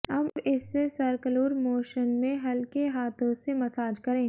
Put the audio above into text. अब इससे circular motion में हल्के हाथों से मसाज करें